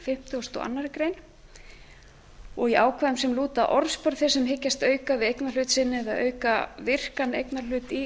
fimmtugasta og annarrar greinar og í ákvæðum sem lúta að orðspori þeirra sem hyggjast auka við eignarhlut sinn eða auka virkan eignarhlut í